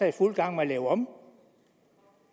i fuld gang med at lave om